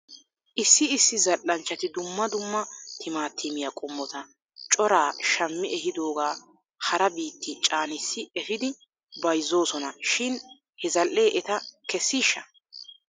Issi issi zal'anchchati dumma dumma timaatimiyaa qommotaa coraa shammi ehidoogaa hara biitti caanissi efidi bayzoosona shin he zal''ee eta kessiishsha?